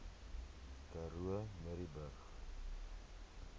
karoo murrayburg